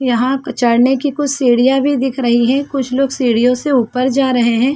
यहाँ चढ़ने की कुछ सीढ़ियाँ भी दिख रही है कुछ लोग सीढ़ियों से उपर जा रहे है।